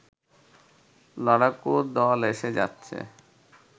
লড়াকু দল এসে যাচ্ছে